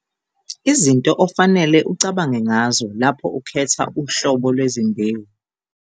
Izinto ofanele ucabange ngazo lapho ukhetha uhlobo lwezimbewu